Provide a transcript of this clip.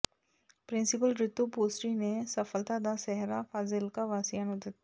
principal Ritu Bhusri ਨੇ ਸਫ਼ਲਤਾ ਦਾ ਸਹਿਰਾ ਫਾਜ਼ਿਲਕਾ ਵਾਸੀਆਂ ਨੂੰ ਦਿੱਤਾ